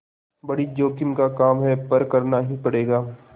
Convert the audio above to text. बड़ी जोखिम का काम है पर करना ही पड़ेगा